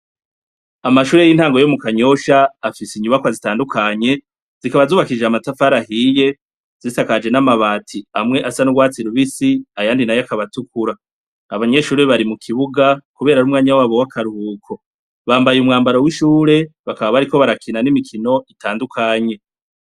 Amashure y'intango yo mu kanyosha afise inyubakwa zitandukanye ,zikaba zubakije amatafari ahiye ,zisakaje n'amabati ,amwe asa n'urwatsi rubisi ,ayandi nayo akabatukura, abanyeshuri bari mu kibuga kubera r'umwanya wabo w'akaruhuko bambaye umwambaro w'ishure, bakaba bari ko barakina n'imikino itandukanye.